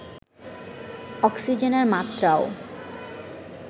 অক্সিজেনের মাত্রাও